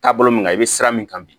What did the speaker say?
Taabolo min kan i bɛ siran min kan bi